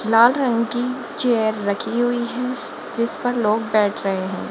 लाल रंग की चेयर रखी हुई है जिस पर लोग बैठ रहे हैं।